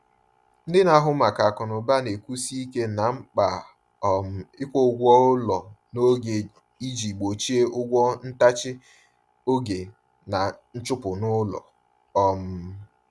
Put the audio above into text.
Ndị na-ahụ maka akụnụba na-ekwusi ike na mkpa um ịkwụ ụgwọ ụlọ n’oge iji gbochie ụgwọ ntachi oge na nchụpụ n’ụlọ. um